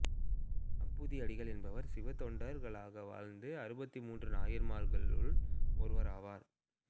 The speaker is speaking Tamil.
அப்பூதி அடிகள் என்பவர் சிவத்தொண்டர்களாக வாழ்ந்த அறுபத்து மூன்று நாயன்மார்களுள் ஒருவராவார்